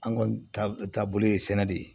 An kɔni ta bolo ye sɛnɛ de ye